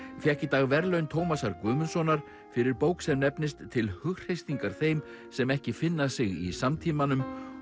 fékk í dag verðlaun Tómasar Guðmundssonar fyrir bók sem nefnist til hughreystingar þeim sem ekki finna sig í samtímanum